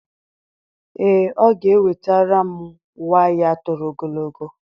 Ee, ọ ga-ewetara m waya toro ogologo.